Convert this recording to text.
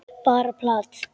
Bara plat.